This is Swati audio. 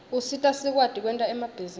usita sikwati kwenta emabhizinisi